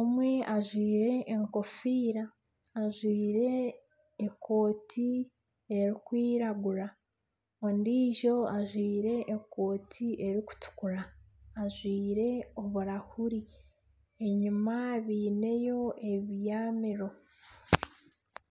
Omwe ajwaire enkofiira, ajwaire ekooti erikwiragura ondiijo ajwaire ekooti erikutukura ajwaire oburahuri enyuma baineyo ebiyamiro.